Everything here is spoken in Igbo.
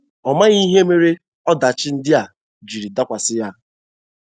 Ọ maghị ihe mere ọdachi ndị a ji dakwasị ya.